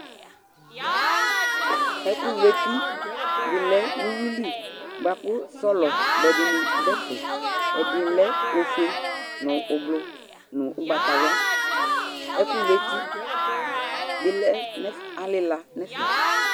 Ɛkʋlʋeti dɩ lɛ nʋ uyui li bʋa kʋ sɔlɔ bʋɛ dɩnɩ dʋ ɛfɛ Ɛdɩ lɛ ofue nʋ ʋblʋ nʋ ʋgbatawla Ɛkʋlʋeti bɩ lɛ nʋ ɛf alɩla nʋ ɛfɛ